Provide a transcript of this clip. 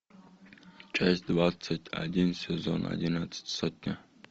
часть двадцать один сезон одиннадцать сотня